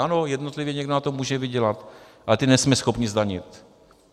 Ano, jednotlivě někdo na tom může vydělat, ale ty nejsme schopni zdanit.